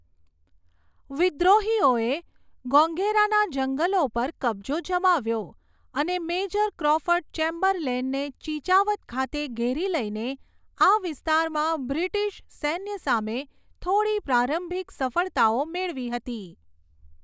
વિદ્રોહીઓએ ગોગૈરાના જંગલો પર કબ્જો જમાવ્યો અને મેજર ક્રૉફર્ડ ચેમ્બરલેનને ચિચાવત ખાતે ઘેરી લઈને આ વિસ્તારમાં બ્રિટિશ સૈન્ય સામે થોડી પ્રારંભિક સફળતાઓ મેળવી હતી.